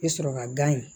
I bɛ sɔrɔ ka gan in